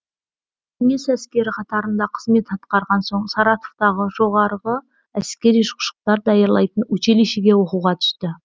кеңес әскері қатарында қызмет атқарған соң саратовтағы жоғары әскери ұшқыштар даярлайтын училищиге оқуға түсті